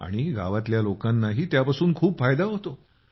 आणि गावातल्या लोकांनाही त्यापासून खूप फायदा होतो